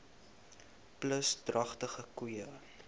plus dragtige koeie